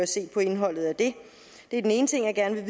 set på indholdet af det det er den ene ting jeg gerne vil